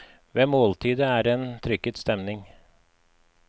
Ved måltidet er det trykket stemning.